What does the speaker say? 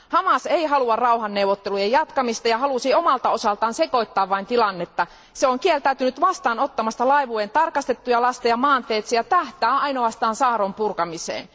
Hamas ei halua rauhanneuvottelujen jatkamista ja halusi omalta osaltaan vain sekoittaa tilannetta. Se on kieltäytynyt vastaanottamasta laivueen tarkastettuja lasteja maanteitse ja tähtää ainoastaan saarron purkamiseen.